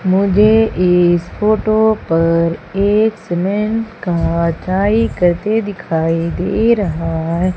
मुझे इस फोटो पर एक सीमेंट का डाई करते दिखाई दे रहा है।